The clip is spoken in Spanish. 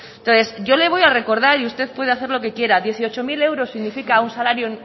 entonces yo le voy a recordar y usted puede hacer lo que quiera dieciocho mil euros significa un salario